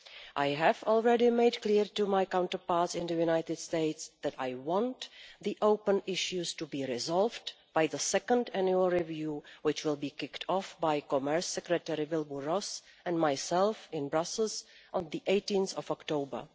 I have already made clear to my counterparts in the United States that I want the open issues to be resolved by the second annual review, which will be kicked off by Commerce Secretary Wilbur Ross and myself in Brussels on 18 October.